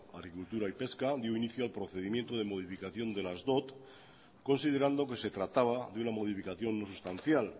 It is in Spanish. agricultura y pesca dio inicio al procedimiento de modificación de las dot considerando que se trataba de una modificación no sustancial